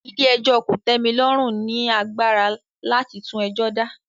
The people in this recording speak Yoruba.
Ilé ẹjọ́ kò tẹ́ mi lọ́rùn ni agbára láti tún ẹjọ́ dá